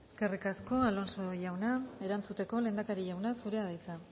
eskerrik asko alonso jauna erantzuteko lehendakari jauna zurea da hitza